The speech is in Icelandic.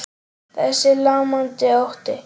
Þessi lamandi ótti.